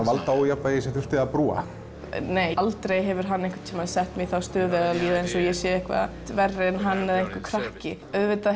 valdaójafnvægi sem þurfti að brúa nei aldrei hefur hann sett mig í þá stöðu að líða eins og ég sé verri en hann eða einhver krakki auðvitað